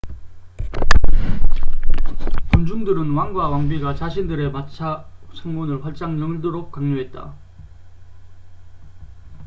군중들은 왕과 왕비가 자신들의 마차 창문을 활짝 열도록 강요했다